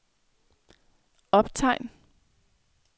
optegn